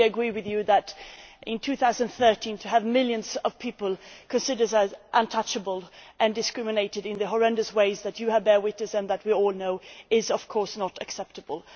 I fully agree with you that, in 2013, to have millions of people considered as untouchable and discriminated in the horrendous ways that you have borne witness to and that we all know, is of course not acceptable.